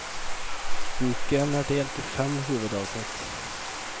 Boken er delt i fem hovedavsnitt.